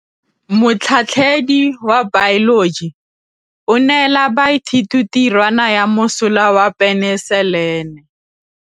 Motlhatlhaledi wa baeloji o neela baithuti tirwana ya mosola wa peniselene.